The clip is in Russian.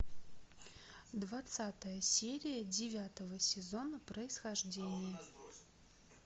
двадцатая серия девятого сезона происхождение